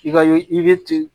I ka i be ten